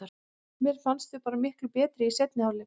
Mér fannst við bara miklu betri í seinni hálfleik.